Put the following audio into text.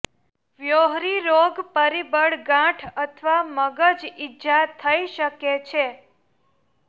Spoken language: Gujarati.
વ્હોરી રોગ પરિબળ ગાંઠ અથવા મગજ ઈજા થઈ શકે છે